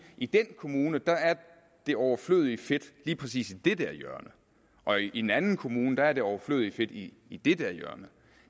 i den kommune er det overflødige fedt lige præcis i det der hjørne og i en anden kommune er det overflødige fedt i i det der hjørne